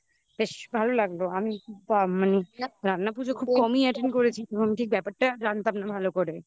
বেশ ভালো লাগলো আমি মানে রান্না পুজো খুব কমই attend করেছি এবং ঠিক ব্যাপারটা জানতাম না ভালো করে